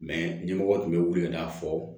ɲɛmɔgɔ tun bɛ wili ka fɔ